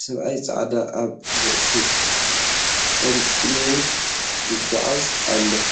ሰበኣይ ፃዕዳ ኣብ ርእሶም ጠምጥሞም ይጓዓዙ ኣለው።